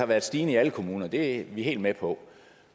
været stigende i alle kommuner det er vi helt med på